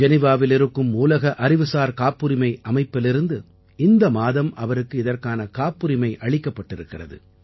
ஜெனீவாவில் இருக்கும் உலக அறிவுசார் காப்புரிமை அமைப்பிலிருந்து இந்த மாதம் அவருக்கு இதற்கான காப்புரிமை அளிக்கப்பட்டிருக்கிறது